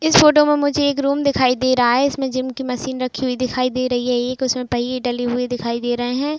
इस फोटो में मुझे एक रूम दिखाइ दे रहा हे। इसमें जिम की मशीन रखी हुई दिखाई दे रही हे। एक उसमे पहिये डले हुए दिखाई दे रहे हे।